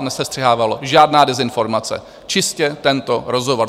nesestřihovalo, žádná dezinformace, čistě tento rozhovor.